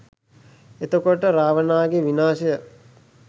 එතකොට, රාවණාගේ විනාශය